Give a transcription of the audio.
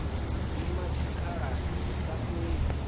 dzima tshikhalani lu sa fheli